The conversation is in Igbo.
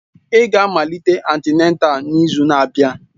Ị ga-amalite antịnátál n'izu na-abịa!